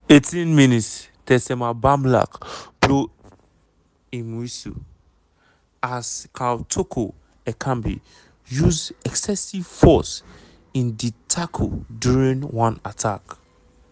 18 mins - tessema bamlak blow im whistle as karl toko ekambi use excessive force in di tackle during one attack.